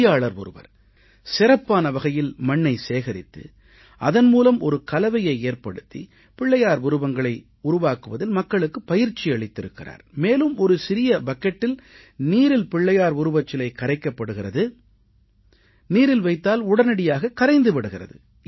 பொறியாளர் ஒருவர் சிறப்பான வகையில் மண்ணை சேகரித்து அதன் மூலம் ஒரு கலவையை ஏற்படுத்தி பிள்ளையார் உருவங்களை உருவாக்குவதில் மக்களுக்குப் பயிற்சி அளித்திருக்கிறார் மேலும் ஒரு சிறிய பக்கெட்டில் நீரில் பிள்ளையார் உருவச்சிலை கரைக்கப்படுகிறது நீரில் வைத்தால் உடனடியாக கரைந்து விடுகிறது